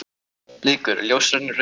Bleikur: Ljósari en rauði liturinn.